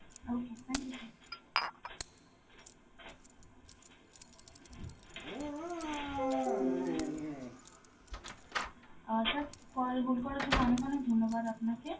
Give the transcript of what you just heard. okay, thank you sir. Uh sir call hold করার জন্য অনেক অনেক ধন্যবাদ আপনাকে,